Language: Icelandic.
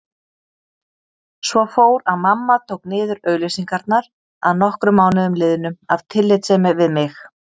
Svo fór að mamma tók niður auglýsingarnar að nokkrum mánuðum liðnum af tillitssemi við mig.